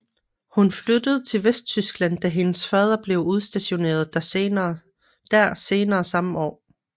Hun flyttede til Vesttyskland da hendes fader blev udstationeret der senere samme år